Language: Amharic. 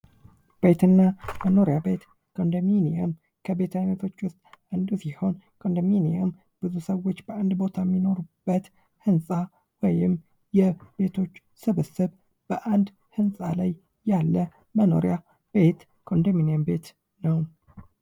ቤትና መኖሪያ ቤት ኮንደሚንየም ከቤት አይነቶች ውስጥ አንዱ ሲሆን ኮንዶሚኒየም ብዙ ሰዎች በአንድ ቦታ የሚኖሩበት ህንፃ ወይም የቤቶች ስብስብ በአንድ ህንጻ ላይ ያለ መኖሪያ ቤት ኮንደሚኒየም ነው ።